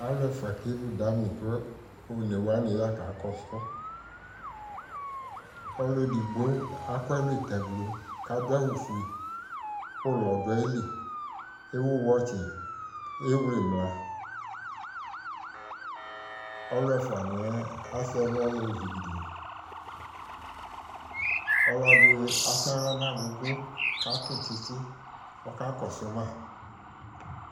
Aluɛfuadi kevu damini ku alu onewani ya kakakɔsu ma ɔluedigbo aku ɛlu taglo ku ulɔ du ayili ku ewu wɛtsi ewle imla ɔluɛfuaniɛ asɛ ɛlu lɛ ɔlɔdi atsi aɣla nu agugu ku adu tsitsi ku ɔkakɔsu ma